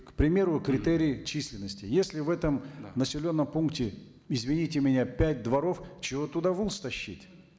к примеру критерий численности если в этом населенном пункте извините меня пять дворов чего туда волс тащить